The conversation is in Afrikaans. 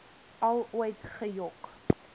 al ooit gejok